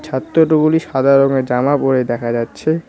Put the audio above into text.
ছাত্রটগুলি সাদা রঙের জামা পড়ে দেখা যাচ্ছে।